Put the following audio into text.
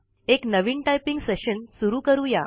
एक नवीन typing session सुरु करूया